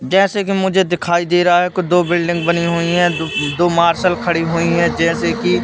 जैसे कि मुझे दिखाई दे रहा है कि दो बिल्डिंग बनी हुई हैं द दो मार्शल खड़ी हुई हैं जैसे कि--